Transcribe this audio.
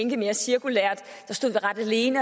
en